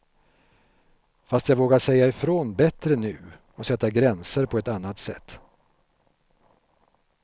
Fast jag vågar säga ifrån bättre nu, och sätta gränser på ett annat sätt.